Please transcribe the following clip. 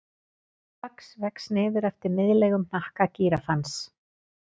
Fax vex niður eftir miðlægum hnakka gíraffans.